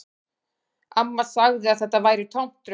Amma sagði að þetta væri tómt rugl